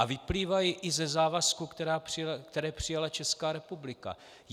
A vyplývají i ze závazků, které přijala Česká republika.